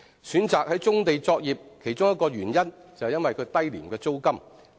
選擇在棕地作業的其中一個原因是其租金低廉。